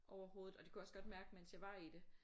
Overhovedet. Og det kunne jeg også godt mærke mens jeg var i det